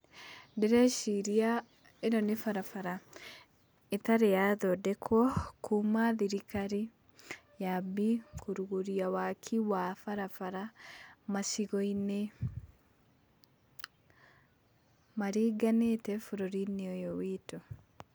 Ndĩreciria ĩno nĩ barabara ĩtarĩ ya thondekwo, kuuma thirikari yambie, kũrũgũria waaki wa barabara, macigo-inĩ maringanĩte bũrũri-inĩ witũ.